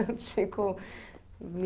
O Tico me...